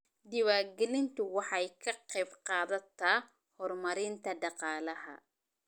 Diiwaangelintu waxay ka qaybqaadataa horumarinta dhaqaalaha.